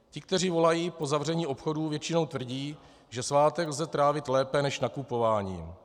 Ti, kteří volají po zavření obchodů, většinou tvrdí, že svátek lze trávit lépe než nakupováním.